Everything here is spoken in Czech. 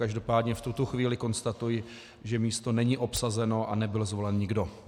Každopádně v tuto chvíli konstatuji, že místo není obsazeno a nebyl zvolen nikdo.